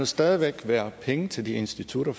stadig væk være penge til de institutter